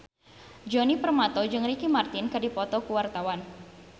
Djoni Permato jeung Ricky Martin keur dipoto ku wartawan